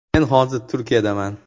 Men hozir Turkiyadaman.